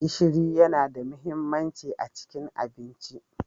Gishiri yana da mahimmanci a cikin abinci.